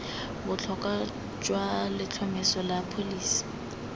botlhokwa jwa letlhomeso la pholisi